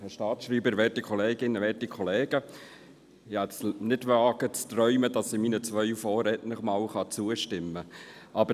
Ich hätte nicht zu träumen gewagt, dass ich meinen beiden Vorrednern einmal zustimmen kann.